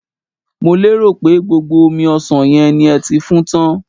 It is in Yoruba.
mo pero pe gbogbo omi osan yen ni e ti fun tan